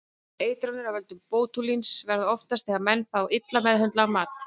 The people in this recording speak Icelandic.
Eitranir af völdum bótúlíns verða oftast þegar menn fá illa meðhöndlaðan mat.